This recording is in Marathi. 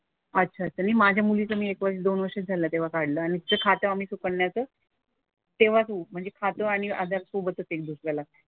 अच्छा. तरी माझ्या मुलीचं मी हे पण दोन वर्ष झालं तेव्हा काढलं आणि तिचं खातं आम्ही सुकन्याचं तेव्हाच म्हणजे खातं आणि आधार सोबतच एनरोल केला.